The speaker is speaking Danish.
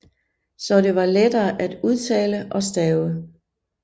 Så det var lettere at udtale og stave